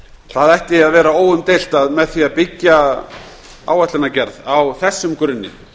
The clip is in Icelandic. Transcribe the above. það ætti að vera óumdeilt að með því að byggja áætlunargerð á þessum grunni